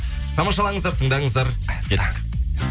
тамашалаңыздар тындаңыздар кеттік